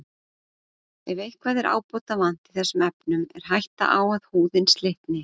Ef eitthvað er ábótavant í þessum efnum er hætta á að húðin slitni.